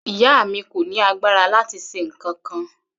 Ìyá mi kò ní agbára láti ṣe nǹkankan.